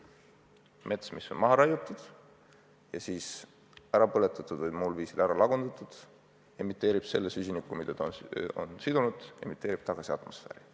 Mets, mis on maha raiutud ja siis ära põletatud või muul viisil ära lagundatud, emiteerib selle süsiniku, mis ta on sidunud, tagasi atmosfääri.